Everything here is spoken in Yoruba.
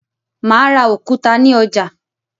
Mà á ra òkúta ní ọjà.